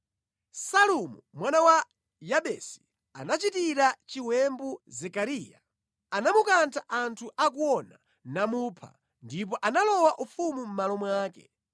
Salumu mwana wa Yabesi anachitira chiwembu Zekariya. Anamukantha anthu akuona, namupha, ndipo analowa ufumu mʼmalo mwake.